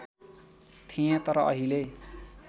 थिएँ तर अहिले